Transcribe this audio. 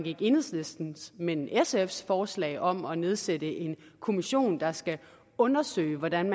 ikke enhedslistens men sfs forslag om at nedsætte en kommission der skal undersøge hvordan